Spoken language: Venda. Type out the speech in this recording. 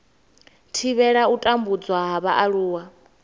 thivhela u tambudzwa ha vhaaluwa